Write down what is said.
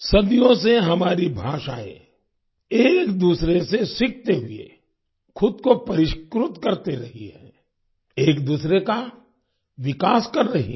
सदियों से हमारी भाषाएँ एक दूसरे से सीखते हुए खुद को परिष्कृत करती रही है एक दूसरे का विकास कर रही हैं